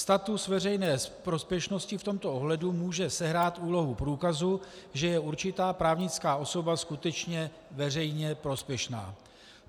Status veřejné prospěšnosti v tomto ohledu může sehrát úlohu průkazu, že je určitá právnická osoba skutečně veřejně prospěšná.